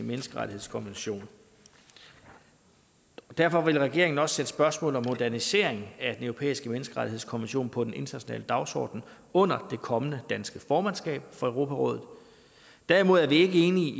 menneskerettighedskonvention derfor vil regeringen også sætte spørgsmålet om modernisering af den europæiske menneskerettighedskonvention på den internationale dagsorden under det kommende danske formandskab for europarådet derimod er vi ikke enige i